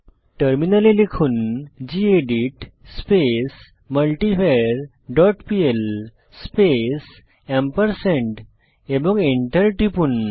টার্মিনালে লিখুন gedit space multivar dot PL space এবং এন্টার টিপুন